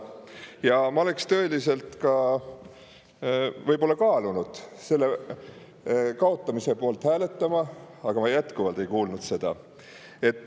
Siis ma oleksin võib-olla tõeliselt kaalunud selle kaotamise poolt hääletamist, aga ma ei kuulnud seda.